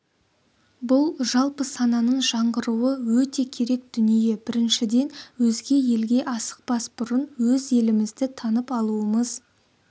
бұл жалпы сананың жаңғыруы өте керек дүние біріншіден өзге елге асықпас бұрын өз елімізді танып алуымыз